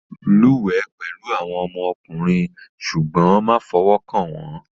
Lúwẹ̀ẹ́ pẹ̀lú àwọn ọmọkùnrin ṣùgbọ́n má fọwọ́ kàn wọ́n